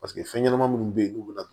Paseke fɛn ɲɛnama minnu bɛ yen n'u bɛ na